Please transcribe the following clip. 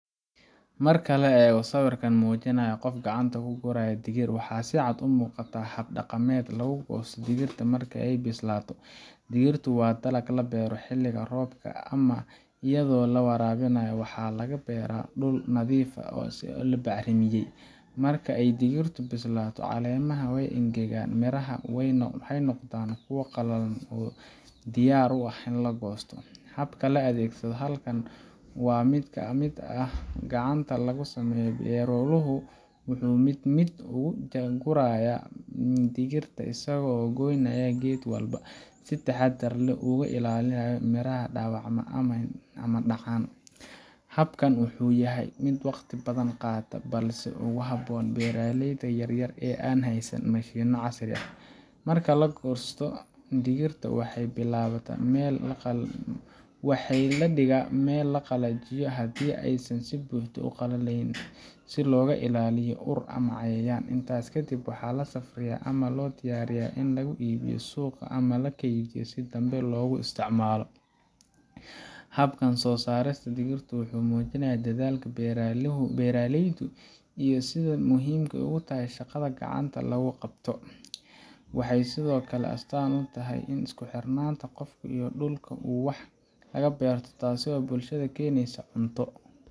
Marka la eego sawirkan oo muujinaya qof gacanta ku guraya digir, waxa si cad u muuqata hab dhaqameed lagu goosto digirta marka ay bislaato. Digirtu waa dalag la beero xilliga roobka ama iyadoo la waraabiyo, waxaana laga beeraa dhul nadiif ah oo la bacrimiyey. Marka ay digirtu bislaato, caleemaha way engegaan, mirahana waxay noqdaan kuwo qallalan oo diyaar u ah in la goosto. Habka la adeegsado halkan waa mid gacanta lagu sameeyo – beeraluhu wuxuu mid mid u gurayaa miraha digirta isagoo ka goynaya geed walba, si taxaddar leh oo uu uga ilaaliyo in miraha dhaawacmaan ama dhacaan. Habkani wuxuu yahay mid wakhti badan qaata, balse aad ugu habboon beeraleyda yar yar ee aan haysan mashiinno casri ah. Marka la soo gurto, digirta waxa la dhigayaa meel la qalajiyo haddii aysan si buuxda u qalayn, si looga ilaaliyo ur ama cayayaan. Intaas ka dib, waxaa la safriyaa ama loo diyaariyaa in lagu iibiyo suuqa ama la keydiyo si dambe loogu isticmaalo. Habkan soo saarista digirta wuxuu muujinayaa dadaalka beeraleyda iyo sida ay muhiimka u tahay shaqada gacanta lagu qabto. Waxay sidoo kale astaan u tahay isku xirnaanta qofka iyo dhulka uu wax ka beerto – taasoo bulshada u keenaysa cunto,